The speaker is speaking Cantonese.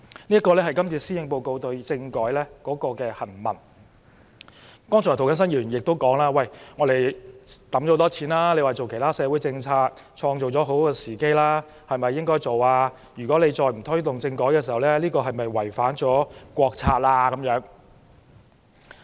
涂謹申議員剛才也表示，政府已投放大量資源推行其他社會政策，創造了很好的時機。如果政府再不推動政改，是否違反國策？